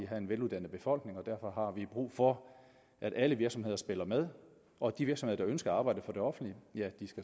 have en veluddannet befolkning og derfor har vi brug for at alle virksomheder spiller med og at de virksomheder der ønsker at arbejde for det offentlige